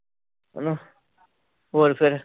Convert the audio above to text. ਹੈ ਨਾ ਹੋਰ ਫਿਰ